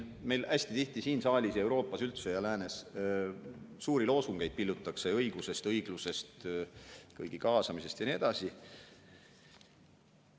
Meil hästi tihti siin saalis ja Euroopas, üldse läänes pillutakse suuri loosungeid õigusest, õiglusest, kõigi kaasamisest ja nii edasi.